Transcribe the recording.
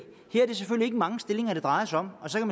ikke mange stillinger det drejer sig om og så kan